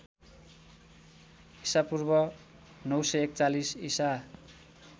ईपू ९४१ ईसा